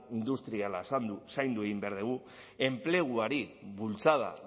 industriala zaindu egin behar dugu enpleguari bultzada